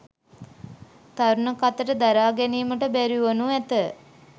තරුණ කතට දරා ගැනීමට බැරිවනු ඇත.